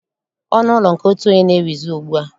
Ọnụ ụlọ nke otu onye na-ewuzi ugbua